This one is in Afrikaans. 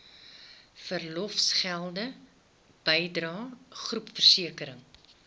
verlofgelde bydrae groepversekering